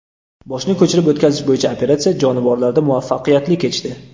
Boshni ko‘chirib o‘tkazish bo‘yicha operatsiya jonivorlarda muvaffaqiyatli kechdi.